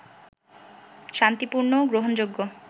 শান্তিপূর্ণ, গ্রহণযোগ্য